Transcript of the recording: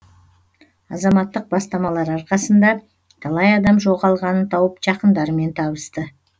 азаматтық бастамалар арқасында талай адам жоғалғанын тауып жақындарымен табысты